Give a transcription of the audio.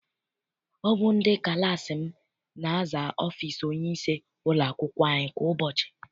Ọ bụ ndị klassi m na-aza ọfịịsi onyeisi ụlọakwụkwọ anyị kwa ụbọchị.